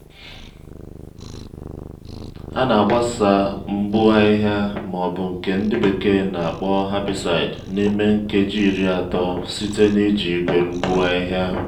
a na-agbasa mgbu ahịhịa ma ọbu nke ndi bekee na-akpọ herbicide n'ime nkeji iri atọ site n'iji igwe mgbu ahịhịa.